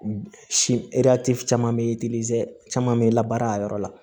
Si caman bɛ caman bɛ labaara a yɔrɔ la